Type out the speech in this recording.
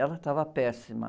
Ela estava péssima.